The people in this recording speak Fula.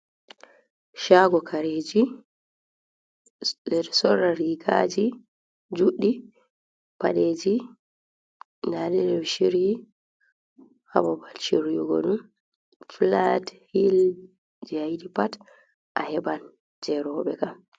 Shago kareji, ɓeɗo sorra rigaji juɗɗi, paɗeji ndaɗe ɗeɗo shiryi ha babal shiryogo ɗum, fulat, hil je ayiɗi pat a heɓan je roɓe kam.